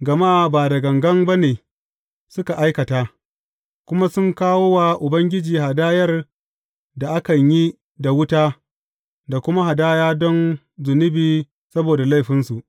gama ba da gangan ba ne suka aikata, kuma sun kawo wa Ubangiji hadayar da akan yi da wuta da kuma hadaya don zunubi saboda laifinsu.